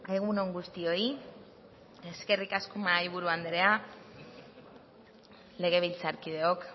egun on guztioi eskerrik asko mahaiburu andrea legebiltzarkideok